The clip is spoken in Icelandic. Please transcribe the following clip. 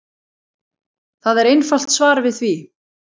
Það er einfalt svar við því.